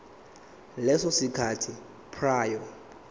leso sikhathi prior